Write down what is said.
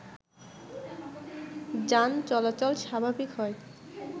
যান চলাচল স্বাভাবিক হয়